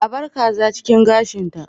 A bar kaza cikin gashinta